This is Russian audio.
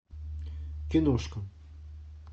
киношка